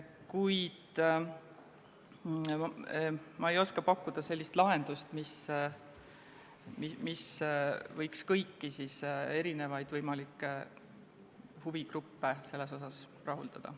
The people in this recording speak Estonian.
Kuid ma ei oska pakkuda sellist lahendust, mis võiks kõiki võimalikke huvigruppe selles suhtes rahuldada.